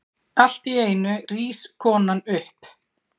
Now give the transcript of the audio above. Alltíeinu rís konan upp.